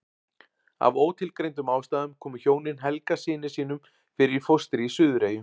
Af ótilgreindum ástæðum komu hjónin Helga syni sínum fyrir í fóstri í Suðureyjum.